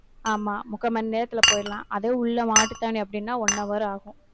ஆமா, முக்கா மணி நேரத்துல போயிடலாம். அதே உள்ள மாட்டுத்தாவணி அப்படின்னா one hour ஆகும்.